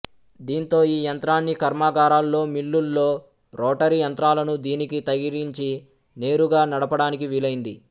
దీంతో ఈ యంత్రాన్ని కర్మాగారాల్లో మిల్లుల్లో రోటరీ యంత్రాలను దీనికి తగిలించి నేరుగా నడపడానికి వీలైంది